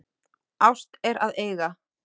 Ást er að eiga.